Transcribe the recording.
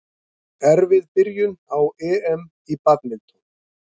Erfið byrjun á EM í badminton